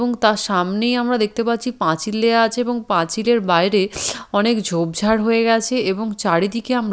এবং তার সামনেই আমরা দেখতে পাচ্ছি পাঁচিল দেয়া আছে এবং পাঁচিলের বাইরে অনেক ঝোপঝাড় হয়ে গেছে এবং চারিদিকে আমরা--